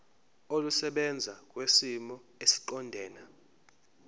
olusebenza kwisimo esiqondena